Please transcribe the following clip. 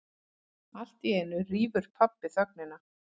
Alltíeinu rýfur pabbi þögnina.